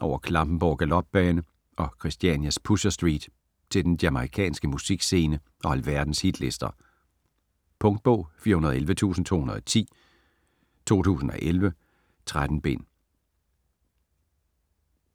over Klampenborg Galopbane og Christianias Pusher Street til den jamaicanske musikscene og alverdens hitlister. Punktbog 411210 2011. 13 bind.